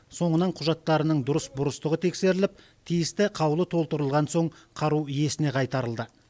соңынан құжаттарының дұрыс бұрыстығы тексеріліп тиісті қаулы толтырылған соң қару иесіне қайтарылды